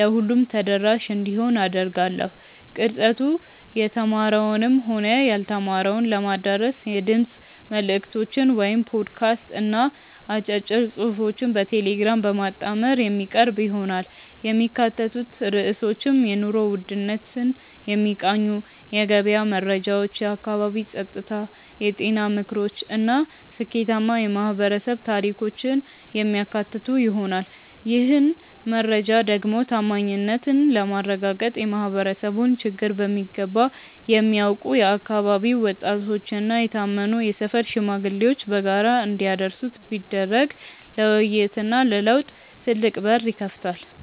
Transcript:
ለሁሉም ተደራሽ እንዲሆን አደርጋለሁ። ቅርጸቱ የተማረውንም ሆነ ያልተማረውን ለማዳረስ የድምፅ መልዕክቶችን (ፖድካስት) እና አጫጭር ጽሑፎችን በቴሌግራም በማጣመር የሚቀርብ ይሆናል። የሚካተቱት ርዕሶችም የኑሮ ውድነትን የሚቃኙ የገበያ መረጃዎች፣ የአካባቢ ጸጥታ፣ የጤና ምክሮች እና ስኬታማ የማኅበረሰብ ታሪኮችን የሚያካትቱ ይሆናል። ይህን መረጃ ደግሞ ታማኝነትን ለማረጋገጥ የማኅበረሰቡን ችግር በሚገባ የሚያውቁ የአካባቢው ወጣቶችና የታመኑ የሰፈር ሽማግሌዎች በጋራ እንዲያደርሱት ቢደረግ ለውይይትና ለለውጥ ትልቅ በር ይከፍታል።